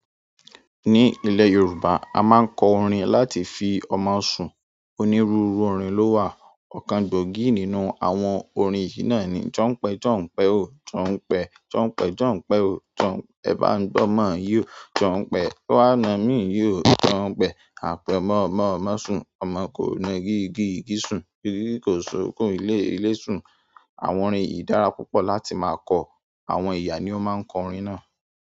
Ní ilẹ̀ Yorùbá, a máa ń kọ orin láti fi ọmọ sun. Onírúurú orin ló wà. Ọ̀kan gbòógì nínú àwọn òrin yìí náà ni: "Jọ̀ọ́npẹ̀, jọ̀ọ́npẹ̀ ó, jọ̀ọ́npẹ̀, jọ̀ọ́npẹ̀, jọ̀ọ́npẹ̀ ó. Jọ̀ọ́npẹ̀, ẹ bá ń gbọ́mọ yi ó. Jọ̀ọ́npẹ̀, wá na mí yó, jọ̀ọ́npẹ̀. Apemomo mo sun. Ọmọ kò na igi, igi sun. Igi kò sọ̀kún ilé, ilé sun." Àwọn orin yìí dára púpọ̀ láti máa kọ. Àwọn ìyá ni ó máa ń kọ orin náà.